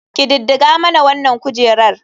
Ƙididdiga mana wanan kujerar.